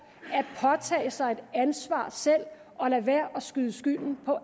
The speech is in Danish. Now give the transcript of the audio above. at påtage sig et ansvar selv og lade være at skyde skylden på